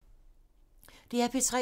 DR P3